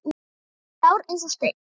Hann var grár eins og steinn.